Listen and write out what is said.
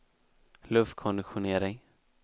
luftkonditionering